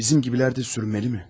Bizim gibilər də sürünməli mi?